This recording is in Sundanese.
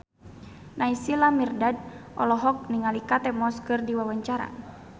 Naysila Mirdad olohok ningali Kate Moss keur diwawancara